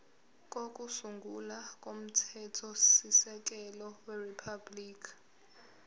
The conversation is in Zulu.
kokusungula komthethosisekelo weriphabhuliki